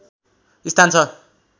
स्थान छ